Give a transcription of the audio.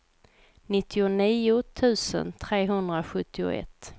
nittionio tusen trehundrasjuttioett